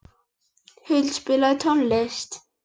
Huld, spilaðu tónlist.